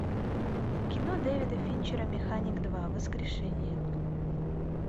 кино дэвида финчера механик два воскрешение